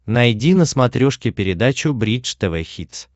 найди на смотрешке передачу бридж тв хитс